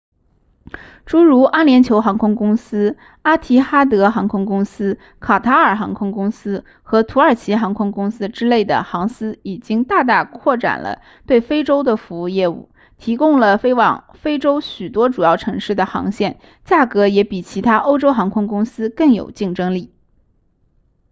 诸如阿联酋航空公司阿提哈德航空公司卡塔尔航空公司和土耳其航空公司之类的航司已经大大扩展了对非洲的服务业务提供了飞往非洲许多主要城市的航线价格也比其他欧洲航空公司更有竞争力